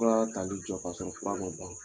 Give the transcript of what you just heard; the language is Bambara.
Fura tali jɔ kasɔrɔ fura man ban.